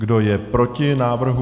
Kdo je proti návrhu?